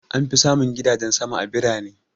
An fi samun gidajen sama a birane.